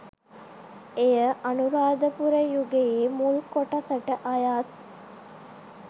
එය අනුරාධපුර යුගයේ මුල් කොටසට අයත්